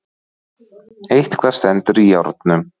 Eitthvað stendur í járnum